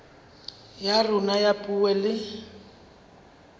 ya rona ya puo le